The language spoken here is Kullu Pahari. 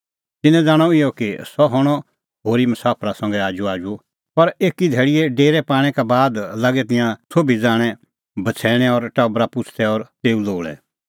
तिन्नैं ज़ाणअ इहअ कि सह हणअ होरी मसाफरा संघै आजूआजू पर एकी धैल़ीए डेरै पाणै का बाद लागै तिंयां सोभी ज़ाणैंबछ़ैणैं और टबरा पुछ़दै और तेऊ लोल़ै